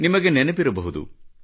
ನಿಮಗೆ ನೆನಪಿರಬಹುದು